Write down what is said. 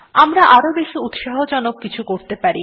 আমরা আরও বেশি উৎসাহজনক কিছু করতে পারি